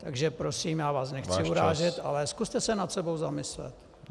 Takže prosím, já vás nechci urážet, ale zkuste se nad sebou zamyslet.